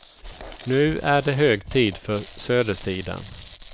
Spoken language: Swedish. Nu är det hög tid för södersidan.